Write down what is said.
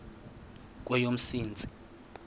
kweyomsintsi